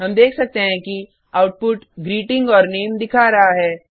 हम देख सकते हैं कि आउटपुट ग्रीटिंग और नामे दिखा रहा है